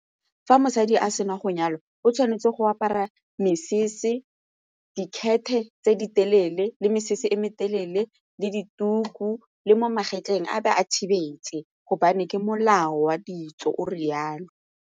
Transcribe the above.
Fa mosadi a sena go nyalwa, o tshwanetse go apara mesese dikhete e tse di telele le mesese e metelele le dituku le mo magetleng a be a thibelwe gobane ke molao wa ditso o re jalo.